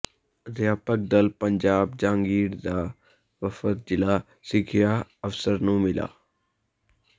ਅਧਿਆਪਕ ਦਲ ਪੰਜਾਬ ਜਹਾਂਗੀਰ ਦਾ ਵਫ਼ਦ ਜ਼ਿਲ੍ਹਾ ਸਿੱਖਿਆ ਅਫ਼ਸਰ ਨੂੰ ਮਿਲਿਆ